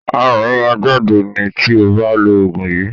Aràn máa jáde ni tí o bá lo òògùn yìí.